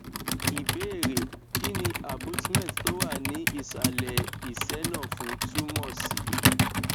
ìbéèrè kí ni abutment tó wà ní ìsàlẹ ìsẹ nafu tumo si